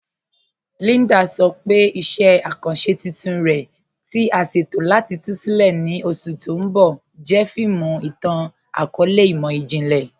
Líndà sọ pé iṣẹ̀ akanṣẹ tuntun rẹ̀, tí à sẹ̀tọ̀ láti tú sílẹ̀ ní oṣù tì n bọ̀, jẹ́ fíìmù ìtàn-akọọlẹ̀ imọ̀jìnlẹ̀.